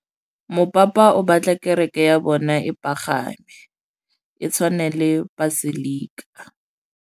Mopapa o batla kereke ya bone e pagame, e tshwane le paselika.